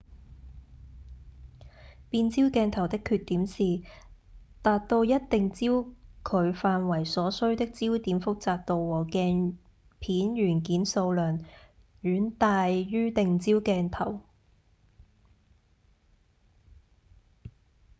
變焦鏡頭的缺點是達到一定焦距範圍所需的焦點複雜度和鏡片元件數量遠大於定焦鏡頭